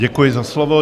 Děkuji za slovo.